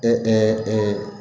E e